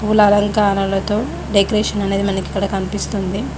పూల అలంకారాలతో డెకరేషన్ అనేది మనకు ఇక్కడ కనిపిస్తుంది.